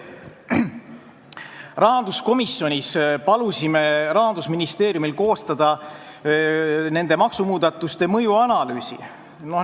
Rahanduskomisjonis palusime Rahandusministeeriumil koostada nende maksumuudatuste mõjuanalüüs.